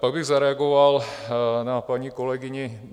Pak bych zareagoval na paní kolegyni.